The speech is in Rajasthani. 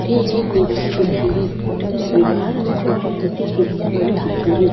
अठे एक दिवार दिखेरी दिवार में छोटा छोटा खिड़किया बनी दिखेरी।